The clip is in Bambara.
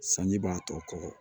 Sanji b'a tɔ kɔkɔ